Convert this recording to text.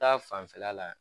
Ta fanfɛla la